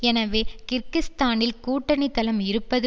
எனவே கிர்கிஸ்தானில் கூட்டணி தளம் இருப்பது